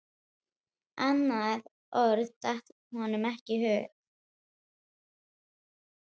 Annað orð datt honum ekki í hug.